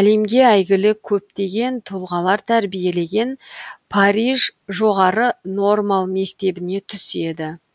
әлемге әйгілі көптеген тұлғалар тәрбиелеген париж жоғары нормал мектебіне түседі